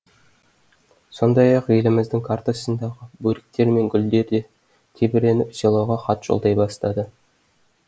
сондай ақ еліміздің картасындағы бөріктер мен гүлдер де тебіреніп селоға хат жолдай бастады